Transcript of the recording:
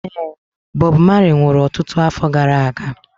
Ee, Bob Marley nwụrụ ọtụtụ afọ gara aga.